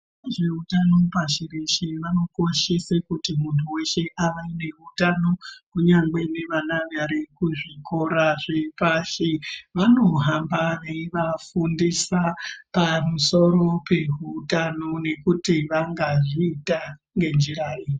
Vanoone nezveutano pashireshe vanokoshese kuti muntu weshe ave neutano, kunyangwe nevana vari kuzvikora zvepashi. Vanohamba veivafundisa pamusoro pehutano nekuti vangazviita ngenjira ipi.